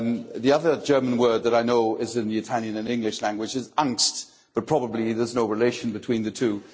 The other German word that I know is in both the Italian and the English languages is but probably there's no relation between the two.